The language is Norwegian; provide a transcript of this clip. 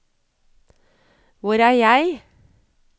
hvor er jeg